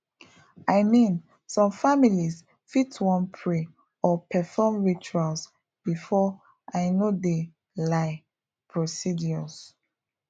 i mean some families fit wan pray or perform rituals before i no de lie procedures